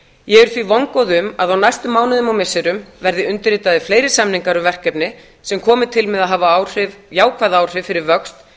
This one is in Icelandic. ég er því vongóð um að á næstu mánuðum og missirum verði undirritaðir fleiri samningar um verkefni sem komi til með að hafa jákvæð áhrif fyrir vöxt í